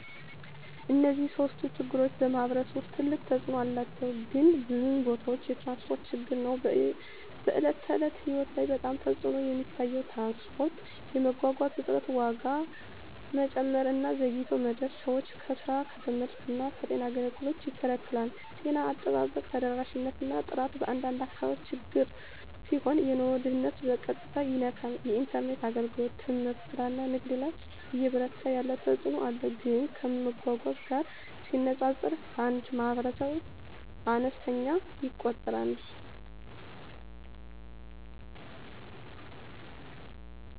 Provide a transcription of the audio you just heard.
እነዚህ ሶስቱም ችግሮች በማኅበረሰብ ውስጥ ትልቅ ተፅእኖ አላቸው፣ ግን በብዙ ቦታዎች የትራንስፖርት ችግር ነው በዕለት ተዕለት ሕይወት ላይ በጣም ተፅዕኖ የሚታየው። ትራንስፖርት የመጓጓዣ እጥረት፣ ዋጋ መጨመር እና ዘግይቶ መድረስ ሰዎችን ከስራ፣ ከትምህርት እና ከጤና አገልግሎት ይከላከላል። ጤና አጠባበቅ ተደራሽነት እና ጥራት በአንዳንድ አካባቢዎች ችግር ሲሆን የኑሮ ደህንነትን በቀጥታ ይነካል። የኢንተርኔት አገልግሎት ትምህርት፣ ስራ እና ንግድ ላይ እየበረታ ያለ ተፅእኖ አለው፣ ግን ከመጓጓዣ ጋር ሲነጻጸር በአንዳንድ ማኅበረሰቦች አነስተኛ ይቆጠራል።